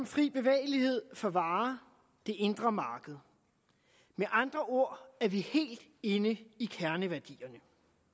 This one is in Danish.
fri bevægelighed for varer det indre marked med andre ord er vi helt inde i kerneværdierne